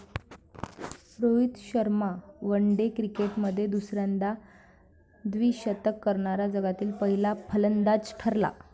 Rohit Sharma one day क्रिकेटमध्ये दुसऱ्यांदा द्विशतक करणारा जगातील पहिला फलंदाज ठरला.